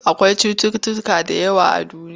Akwai cutuutuka da yawa a duniya.